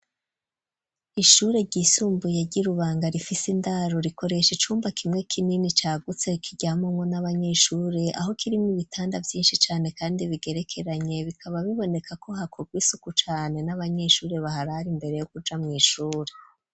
Ishure ry'isumbuye ryi Rubanga rifise indaro rikoresha icumba kimwe k'inini cagutse kiryamamwo n'abanyeshuri aho kirimwo ibitanda vyishi cane kandi bigerekeranye bikaba biboneka ko hakurwa isuku cane n'abanyeshuri baharari mbere yo kuja mw'ishuri.